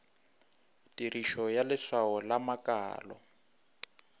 tirišo ya leswao la makalo